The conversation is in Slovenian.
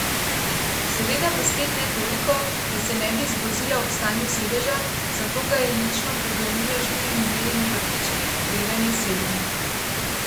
Seveda pa spet ne toliko, da se ne bi zgrozila ob stanju sedeža, zato ga je lično pregrnila s štirimi belimi prtički, preden je sedla.